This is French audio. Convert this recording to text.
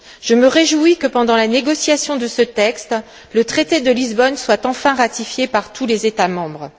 Je me réjouis de ce que, pendant la négociation de ce texte, le traité de Lisbonne ait enfin été ratifié par tous les États membres.